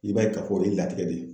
I b'a ye ka fɔ o ye latigɛ de ye